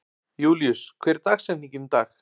Júlíus, hver er dagsetningin í dag?